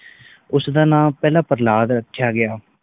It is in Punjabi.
ਉਸ ਦਾ ਨਾਂ ਫਕ ਪ੍ਰਹਲਾਦ ਰੱਖਿਆ ਗਯਾ